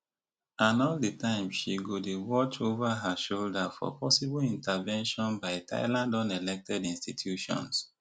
and all di time she she go dey watch ova her shoulder for possible intervention by thailand unelected institutions